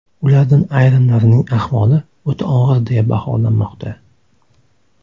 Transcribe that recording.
Ulardan ayrimlarining ahvoli o‘ta og‘ir deya baholanmoqda.